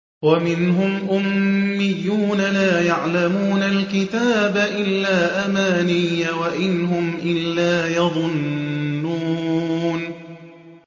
وَمِنْهُمْ أُمِّيُّونَ لَا يَعْلَمُونَ الْكِتَابَ إِلَّا أَمَانِيَّ وَإِنْ هُمْ إِلَّا يَظُنُّونَ